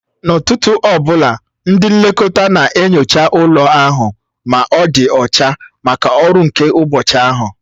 N'ụtụtụ ọ bụla, ndị nlekọta na-enyocha ụlọ ahụ ma ọ dị ọcha maka ọrụ nke ụbọchị ahụ